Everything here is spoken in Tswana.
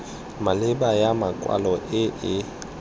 maleba ya makwalo e e